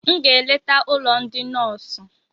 M ga-eleta ụlọ ndị nọọsụ